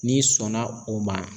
N'i sɔna o ma